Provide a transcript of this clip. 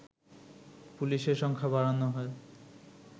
পুলিশের সংখ্যা বাড়ানো হয়